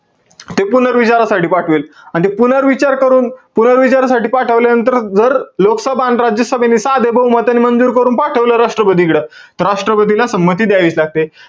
ते पुनर्विचारसाठी पाठवेल. अन ते पुनर्विचार करून, पुनर्विचारासाठी पाठवल्यानंतर, जर लोकसभा अन राज्यसभेने, सध्या बहुमताने जर पाठवलं, राष्ट्रपतीकडं. त राष्ट्रपतीला संमती द्यावीच लागते.